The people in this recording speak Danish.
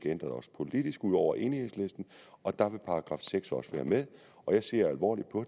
ændres politisk ud over med enhedslisten og der vil § seks også være med jeg ser alvorligt på